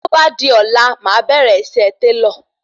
Tí o bá di ọ̀la máà bẹ̀rẹ̀ iṣẹ́ Télọ̀